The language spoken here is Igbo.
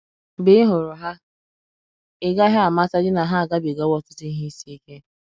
mgbe ịhụrụ ha, ị gaghị amatadị na ha agabi ga wo ọtụtụ ihe isi ike.